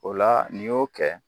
O la n'i y'o kɛ